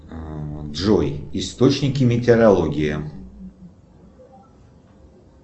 джой источники метеорология